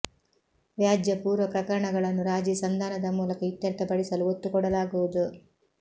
ವ್ಯಾಜ್ಯ ಪೂರ್ವ ಪ್ರಕರಣಗಳನ್ನು ರಾಜೀ ಸಂಧಾನದ ಮೂಲಕ ಇತ್ಯರ್ಥ್ಯ ಪಡಿಸಲು ಒತ್ತುಕೊಡಲಾಗುವುದು